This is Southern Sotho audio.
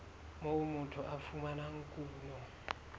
moo motho a fumanang kuno